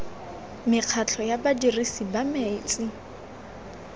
mekgatlho ya badirisi ba metsi